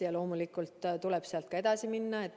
Ja loomulikult tuleb sealt ka edasi minna.